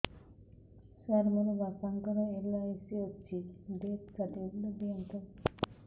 ସାର ମୋର ବାପା ଙ୍କର ଏଲ.ଆଇ.ସି ଅଛି ଡେଥ ସର୍ଟିଫିକେଟ ଦିଅନ୍ତୁ